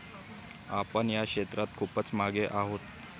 आपण या क्षेत्रात खूपच मागे आहोत.